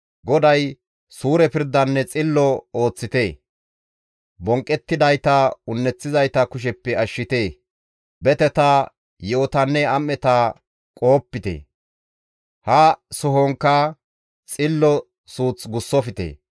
GODAY, «Suure pirdanne xillo ooththite; bonqqettidayta un7eththizayta kusheppe ashshite; beteta, yi7otanne am7eta qohopite; ha sohonkka xillo suuth gussofte.